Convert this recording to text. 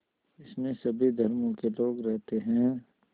इसमें सभी धर्मों के लोग रहते हैं